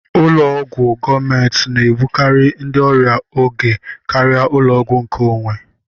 Ụlọ ọgwụ gọọmenti na-egbukari ndị ọrịa oge karịa ụlọọgwụ nke onwé.